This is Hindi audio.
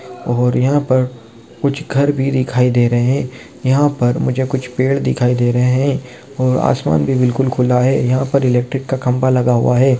और यहाँ पर कुछ घर भी दिखाई दे रहे हैं। यहाँ पर मुझे कुछ पेड़ दिखाई दे रहे हैं। और आसमान भी बिल्कुल खुला है। यहाँ पर इलेक्ट्रिक का खम्भा लगा हुआ है।